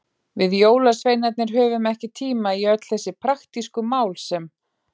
Við jólasveinarnir höfum ekki tíma í öll þessi praktísku mál sem.